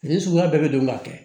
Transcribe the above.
Fini suguya bɛɛ bɛ don ka kɛ